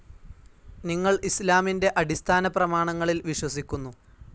നിങ്ങൾ ഇസ്‌ലാമിന്റെ അടിസ്ഥാനപ്രമാണങ്ങളിൽ വിശ്വസിക്കുന്നു.